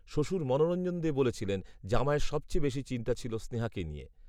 শ্বশুর মনোরঞ্জন দে বলছিলেন, জামাইয়ের সবচেয়ে বেশি চিন্তা ছিল স্নেহাকে নিয়ে